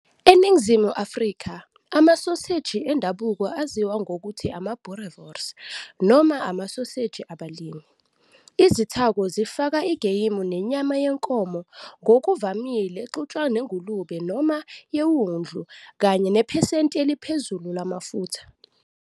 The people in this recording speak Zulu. ENingizimu Afrika, amasoseji endabuko aziwa ngokuthi ama-"boerewors", noma amasoseji abalimi. Izithako zifaka igeyimu nenyama yenkomo, ngokuvamile exutshwa nengulube noma yewundlu kanye nephesenti eliphezulu lamafutha.